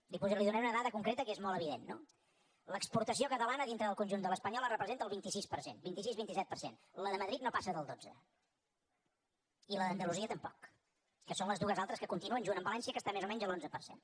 li donaré una dada concreta que és molt evident no l’exportació catalana dintre del conjunt de l’espanyola representa el vint sis per cent vint sis vint set per cent la de madrid no passa del dotze i la d’andalusia tampoc que són les dues altres que continuen junt amb valència que està més o menys a l’onze per cent